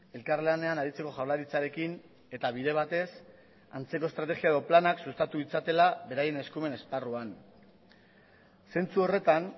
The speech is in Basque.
elkarlanean aritzeko jaurlaritzarekin eta bide batez antzeko estrategia edo planak sustatu ditzatela beraien eskumen esparruan zentzu horretan